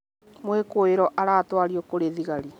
mwikũirwo aratwario kũrĩ thigarĩ